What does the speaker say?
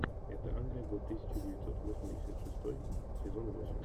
это англия год тысяча девятьсот восемьдесят шестой сезон восемь